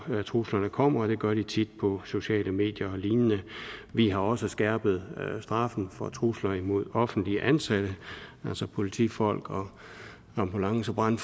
truslerne kommer og det gør de tit på sociale medier og lignende vi har også skærpet straffen for trusler imod offentligt ansatte altså politifolk ambulancefolk